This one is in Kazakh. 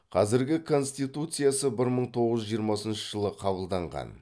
қазіргі конституциясы бір мың тоғыз жүз жиырмасыншы жылы қабылданған